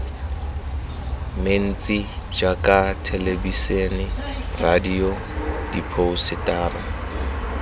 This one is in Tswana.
mentsi jaaka thelebisene radio diphousetara